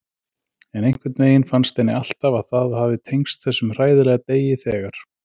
En einhvern veginn fannst henni alltaf að það hafi tengst þessum hræðilega degi þegar.